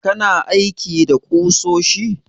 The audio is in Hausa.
Kana aiki da ƙusoshi?